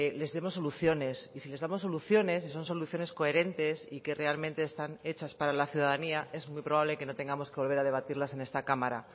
les demos soluciones y si les damos soluciones y son soluciones coherentes y que realmente están hechas para la ciudadanía es muy probable que no tengamos que volver a debatirlas en esta cámara